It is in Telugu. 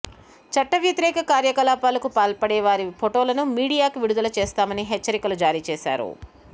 చట్టవ్యతిరేక కార్యకలా పాలకు పాల్పడే వారి ఫొటోలను మీడియాకు విడుదల చేస్తామని హెచ్చరికలు జారీ చేశారు